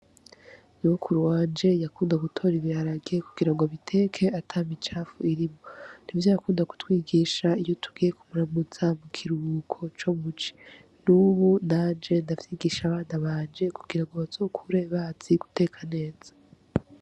Nyokuru wanje yakunda gutora ibiharage kugira ngo abiteke atamicafu irimwo, n'ivyo yakunda kutwigisha iyo tugiye kumuramutsa mu kiruhuko co muci. N'ubu nanje ndavyigisha abana banje kugira ngo bazokure bazi guteka neza.